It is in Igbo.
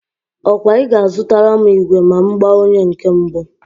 Ọ kwa I ga-azutara m igwe ma m gbaa onye nke mbụ?